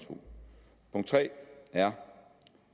tre er